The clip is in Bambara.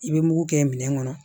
I bɛ mugu kɛ minɛn kɔnɔ